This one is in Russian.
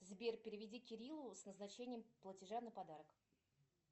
сбер переведи кириллу с назначением платежа на подарок